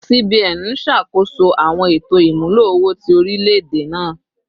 CBN n ṣakoso awọn eto imulo owo ti orilẹ-ede naa